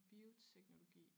Bioteknologi